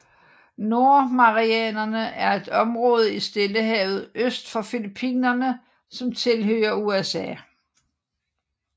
Nordmarianerne er et område i Stillehavet øst for Filippinerne som tilhører USA